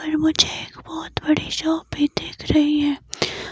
पर मुझे एक बहुत बड़ी शॉप भी देख रही है।